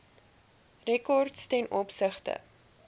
rekords ten opsigte